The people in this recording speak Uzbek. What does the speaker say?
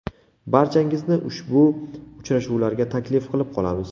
Barchangizni ushbu uchrashuvlarga taklif qilib qolamiz.